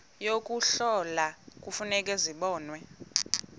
yokuhlola kufuneka zibonwe